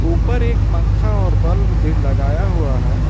ऊपर एक पंखा और बल्ब भी लगाया हुआ है।